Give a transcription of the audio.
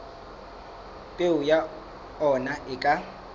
peo ya ona e ka